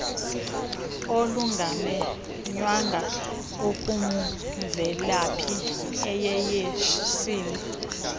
olungamenywanga olumvelaphi iyeyesini